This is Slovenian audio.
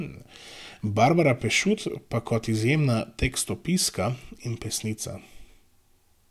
Barbara Pešut pa kot izjemna tekstopiska in pesnica.